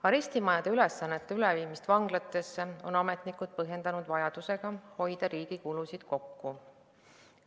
Arestimajade ülesannete üleviimist vanglatesse on ametnikud põhjendanud vajadusega riigi kulusid kokku hoida.